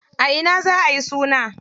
A ina za ayi suna?